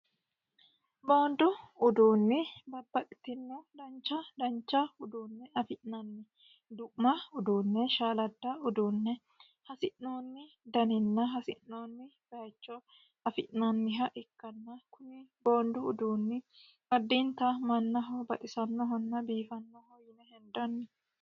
boondu uduunni babbaxitinno dancha dancha uduunne afi'nanni du'ma uduunne shaaladda uduunne hasi'noonni daninna hasi'noonni bayicho afi'nanniha ikkanna kuni boondu uduunni addiinta mannaho baxisannohonna biifannoho yine hendanni.